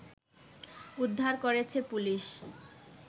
উদ্ধার করেছে পুলিশ